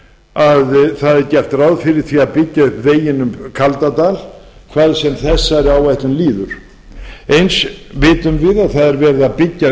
að það er gert ráð fyrir því að byggja upp veginn um kaldadal hvað sem þessari áætlun líður eins vitum við að það er verið að byggja